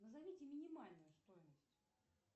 назовите минимальную стоимость